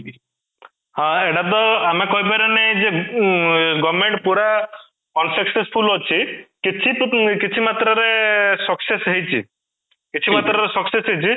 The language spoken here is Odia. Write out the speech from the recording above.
ହାଁ, ଏଇଟା ତ ଆମେ କହିପାରିବାନି ଯେ ଉଁ government ପୁରା unsuccessful ଅଛି କିଛି ତ ମାନେ କିଛି ମାତ୍ରା ରେ ଏଁ success ହେଇଛି କିଛି ମାତ୍ରା ରେ success ହେଇଛି